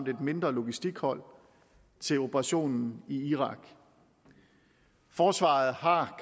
et mindre logistikhold til operationen i irak forsvaret har